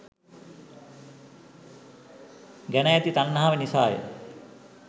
ගැන ඇති තන්හාව නිසාය.